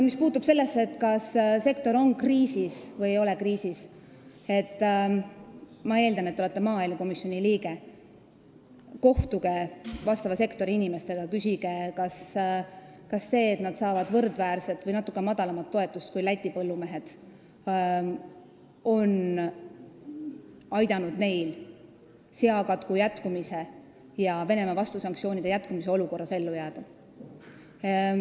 Mis puutub sellesse, kas sektor on kriisis või ei ole, siis ma eeldan, et te olete maaelukomisjoni liige, kohtuge sektori inimestega ja küsige, kas see, et nad saavad võrdväärset või natuke madalamat toetust kui Läti põllumehed, on aidanud neil seakatku ja Venemaa vastusanktsioonide jätkumise olukorras ellu jääda.